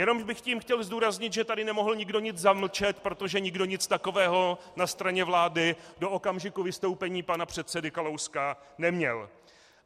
Jenom bych tím chtěl zdůraznit, že tady nemohl nikdo nic zamlčet, protože nikdo nic takového na straně vlády do okamžiku vystoupení pana předsedy Kalouska neměl.